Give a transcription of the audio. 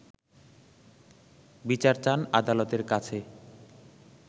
বিচার চান আদালতের কাছে